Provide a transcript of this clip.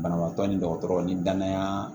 Banabaatɔ ni dɔgɔtɔrɔ ni danaya